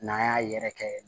N'an y'a yɛrɛ kɛ